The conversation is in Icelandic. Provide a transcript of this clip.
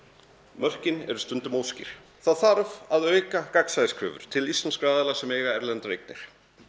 mörkin eru stundum óskýr það þarf að auka til íslenskra aðila sem eiga erlendar eignir